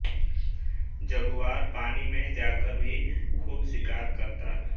Jaguar पानी में जाकर भी खूब शिकार करता है